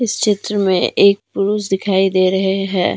इस चित्र में एक पुरुष दिखाई दे रहे है।